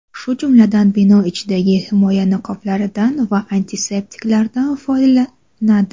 shu jumladan bino ichidagi himoya niqoblaridan va antiseptiklardan foydalanadi.